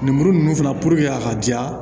Lemuru ninnu fana a ka ja